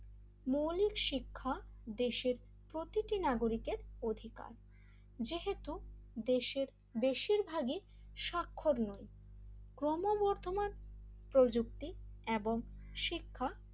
মৌলিক শিক্ষা দেশের প্রতিটি নাগরিকের অধিকার যেহেতু দেশের বেশির ভাগই সাক্ষর নয় ক্রমবর্ধমান প্রযুক্তি এবং শিক্ষা,